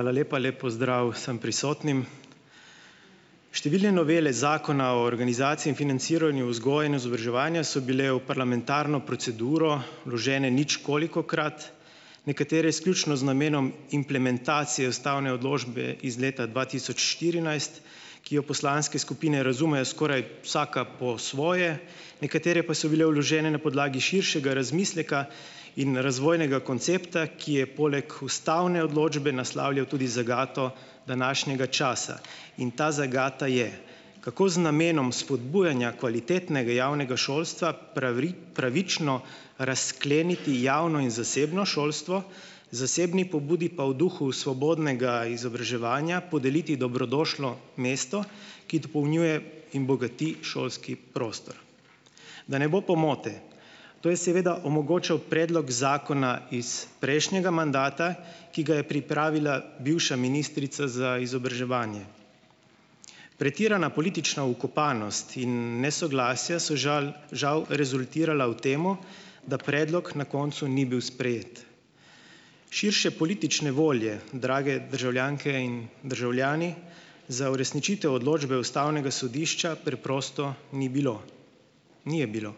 Hvala lepa. Lep pozdrav vsem prisotnim! Številne novele Zakona o organizaciji in financiranju vzgoje in izobraževanja so bile v parlamentarno proceduro vložene ničkolikokrat. Nekatere izključno z namenom implementacije ustavne odločbe iz leta dva tisoč štirinajst, ki jo poslanske skupine razumejo skoraj vsaka po svoje. Nekatere pa so bile vložene na podlagi širšega razmisleka in razvojnega koncepta, ki je poleg ustavne odločbe naslavljal tudi zagato današnjega časa. In ta zagata je - kako z namenom spodbujanja kvalitetnega javnega šolstva pravično razkleniti javno in zasebno šolstvo, zasebni pobudi pa v duhu svobodnega izobraževanja podeliti dobrodošlo mesto, ki dopolnjuje in bogati šolski prostor. Da ne bo pomote. To je seveda omogočal predlog zakona iz prejšnjega mandata, ki ga je pripravila bivša ministrica za izobraževanje. Pretirana politična vkopanost in nesoglasja so žal žal rezultirala v tem, da predlog na koncu ni bil sprejet. Širše politične volje, drage državljanke in državljani, za uresničitev odločbe ustavnega sodišča, preprosto ni bilo. Ni je bilo.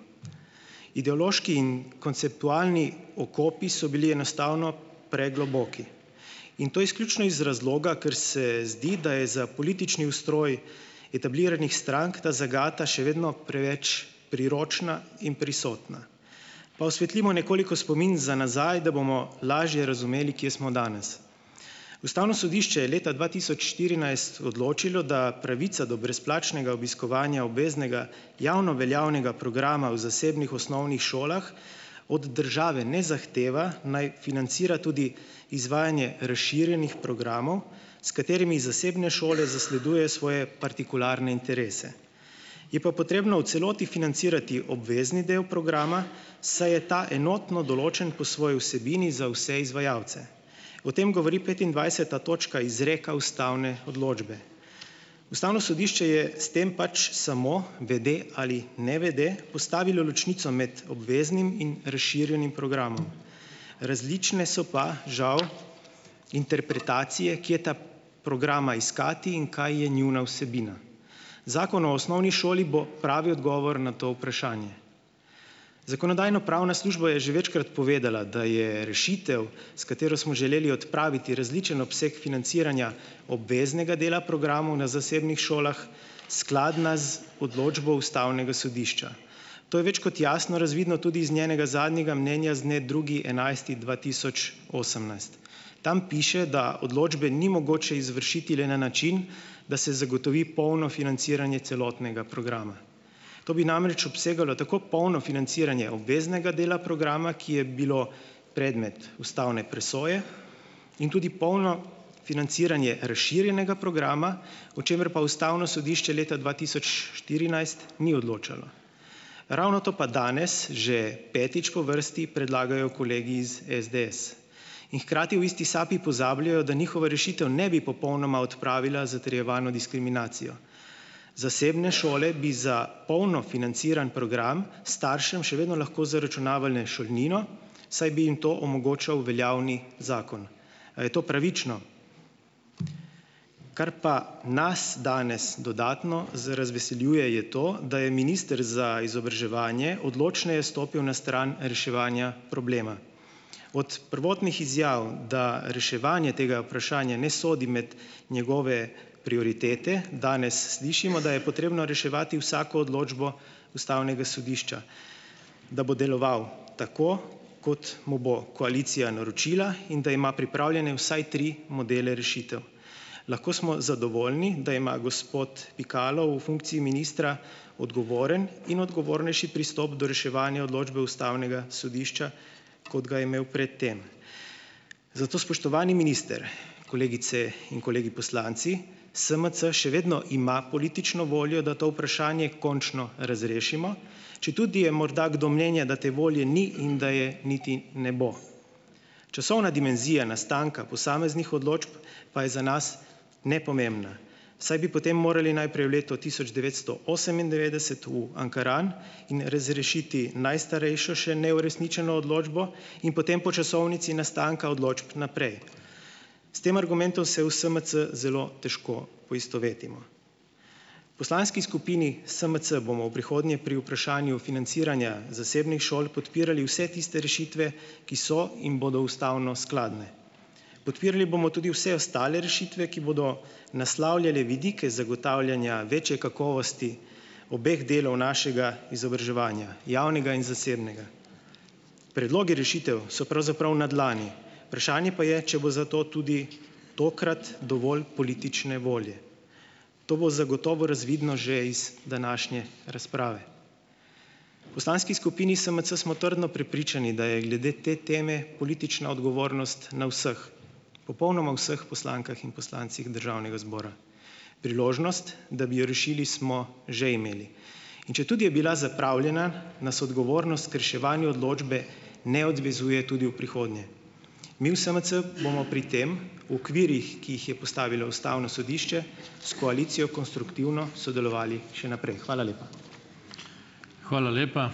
Ideološki in konceptualni okopi so bili enostavno pregloboki. In to izključno iz razloga, ker se zdi, da je za politični ustroj etabliranih strank ta zagata še vedno preveč priročna in prisotna. Pa osvetlimo nekoliko spomin za nazaj, da bomo lažje razumeli, kje smo danes. Ustavno sodišče je leta dva tisoč štirinajst odločilo, da pravica do brezplačnega obiskovanja obveznega javno veljavnega programa v zasebnih osnovnih šolah od države ne zahteva, naj financira tudi izvajanje razširjenih programov, s katerimi zasebne šole zasledujejo svoje partikularne interese. Je pa potrebno v celoti financirati obvezni del programa, saj je ta enotno določen po svoji vsebini za vse izvajalce. O tem govori petindvajseta točka izreka ustavne odločbe. Ustavno sodišče je s tem pač samo - vede ali nevede - postavilo ločnico med obveznim in razširjenim programom. Različne so pa, žal, interpretacije, kje ta programa iskati in kaj je njuna vsebina. Zakon o osnovni šoli bo pravi odgovor na to vprašanje. Zakonodajno-pravna služba je že večkrat povedala, da je rešitev, s katero smo želeli odpraviti različen obseg financiranja obveznega dela programov na zasebnih šolah skladna z odločbo ustavnega sodišča. To je več kot jasno razvidno tudi iz njenega zadnjega mnenja z dne drugi enajsti dva tisoč osemnajst. Tam piše, da odločbe ni mogoče izvršiti le na način, da se zagotovi polno financiranje celotnega programa. To bi namreč obsegalo tako polno financiranje obveznega dela programa, ki je bilo predmet ustavne presoje, in tudi polno financiranje razširjenega programa, o čemer pa ustavno sodišče leta dva tisoč štirinajst ni odločalo. Ravno to pa danes, že petič po vrsti, predlagajo kolegi iz SDS. In hkrati v isti sapi pozabljajo, da njihova rešitev ne bi popolnoma odpravila zatrjevano diskriminacijo. Zasebne šole bi za polno financiran program staršem še vedno lahko zaračunavale šolnino, saj bi jim to omogočal veljavni zakon. A je to pravično? Kar pa nas danes dodatno razveseljuje je to, da je minister za izobraževanje odločneje stopil na stran reševanja problema. Od prvotnih izjav, da reševanje tega vprašanja ne sodi med njegove prioritete, danes slišimo, da je potrebno reševati vsako odločbo ustavnega sodišča, da bo deloval tako, kot mu bo koalicija naročila, in da ima pripravljene vsaj tri modele rešitev. Lahko smo zadovoljni, da ima gospod Pikalo v funkciji ministra odgovoren in odgovornejši pristop do reševanja odločbe ustavnega sodišča kot ga je imel pred tem. Zato, spoštovani minister, kolegice in kolegi poslanci, SMC še vedno ima politično voljo, da to vprašanje končno razrešimo, četudi je morda kdo mnenja, da te volje ni in da je niti ne bo. Časovna dimenzija nastanka posameznih odločb pa je za nas nepomembna, saj bi potem morali najprej v letu tisoč devetsto osemindevetdeset v Ankaran in razrešiti najstarejšo še neuresničeno odločbo in potem po časovnici nastanka odločb naprej. S tem argumentom se v SMC zelo težko poistovetimo. V poslanski skupini SMC bomo v prihodnje pri vprašanju financiranja zasebnih šol podpirali vse tiste rešitve, ki so in bodo ustavno skladne. Podpirali bomo tudi vse ostale rešitve, ki bodo naslavljale vidike zagotavljanja večje kakovosti obeh delov našega izobraževanja, javnega in zasebnega. Predlogi rešitev so pravzaprav na dlani, vprašanje pa je, če bo za to tudi tokrat dovolj politične volje. To bo zagotovo razvidno že iz današnje razprave. V poslanski skupini SMC smo trdno prepričani, da je glede te teme politična odgovornost na vseh, popolnoma vseh poslankah in poslancih državnega zbora. Priložnost, da bi jo rešili, smo že imeli. In četudi je bila zapravljena, nas odgovornost k reševanju odločbe ne odvezuje tudi v prihodnje. Mi v SMC bomo pri tem v okvirih, ki jih je postavilo ustavno sodišče s koalicijo konstruktivno sodelovali še naprej. Hvala lepa.